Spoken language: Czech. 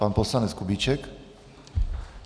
Pan poslanec Kubíček.